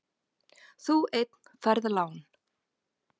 Þú einn færð lán.